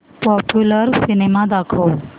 popular cinema दाखव